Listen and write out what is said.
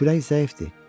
Kürəyin zəifdir.